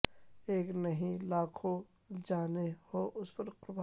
ایک نہیں یہ لاکھوں جانیں ہوں اس پر قربان